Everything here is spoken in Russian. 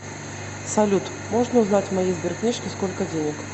салют можно узнать в моей сберкнижке сколько денег